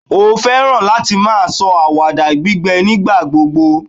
o fẹràn láti ma sọ awada gbígbẹ nígbà gbogbo